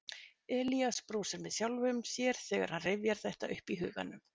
Elías brosir með sjálfum sér þegar hann rifjar þetta upp í huganum.